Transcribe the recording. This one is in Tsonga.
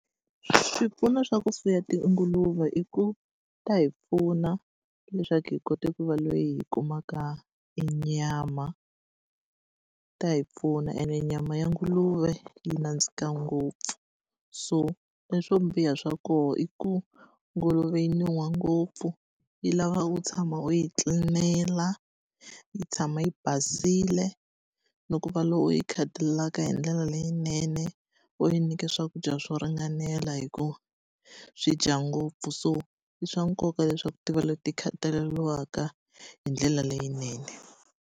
Swipfuno swa ku fuwa tinguluve i ku ta hi pfuna leswaku hi kota ku va loyi hi kumaka e nyama, ta hi pfuna ene nyama ya nguluve yi nandzika ngopfu. So leswo biha swa kona i ku nguluve yi nuha ngopfu, yi lava u tshama u yi tlilinela, yi tshama yi basile, ni ku va loko yi khatalelaka hi ndlela leyinene, u yi nyika swakudya swo ringanela hi ku swi dya ngopfu. So i swa nkoka leswaku ti va leti khataleriwaka hi ndlela leyinene.